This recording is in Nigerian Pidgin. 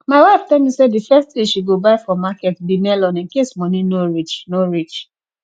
my wife tell me say the first thing she go buy for market be melon in case money no reach no reach